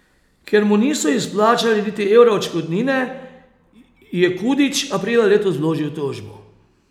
Ker mu niso izplačali niti evra odškodnine, je Kudić aprila letos vložil tožbo.